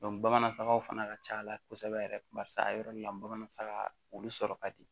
bamanan faga fana ka ca ala kosɛbɛ yɛrɛ barisa a yɔrɔ nin na bamanan faga olu sɔrɔ ka di